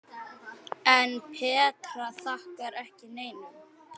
En Petra þakkar ekki neinum.